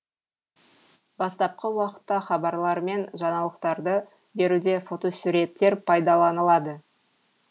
бастапқы уақытта хабарлар мен жаңалықтарды беруде фотосуреттер пайдаланылды